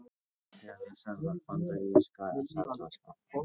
Höfuðstöðvar bandaríska seðlabankans.